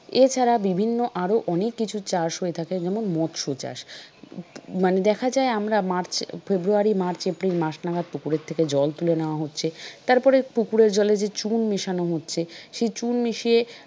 এছাড়া বিভিন্ন আরো অনেককিছু চাষ হয়ে থাকে। যেমন মৎস্য চাষ মানে দেখা যায় আমরা March, February, March, April মাস নাগাদ পুকুরের থেকে জল তুলে নেয়া হচ্ছে তারপরে পুকুরের জলে যে চুন মেশানো হচ্ছে সেই চুন মিশিয়ে।